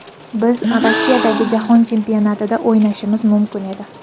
Biz Rossiyadagi Jahon Chempionatida o‘ynashimiz mumkin edi.